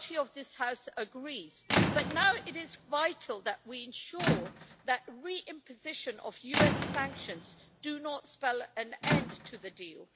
majority of this House agrees, but now it is vital that we ensure that the re-imposition of US sanctions does not spell an end to the deal.